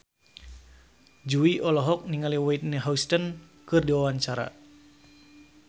Jui olohok ningali Whitney Houston keur diwawancara